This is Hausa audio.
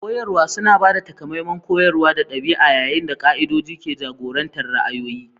Koyarwa suna ba da takamaiman koyarwa da ɗabi'a, yayin da ƙa'idodin ke jagorantar ra'ayoyi.